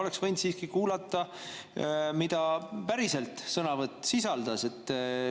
Oleks võinud siiski kuulata, mida päriselt sõnavõtt sisaldas.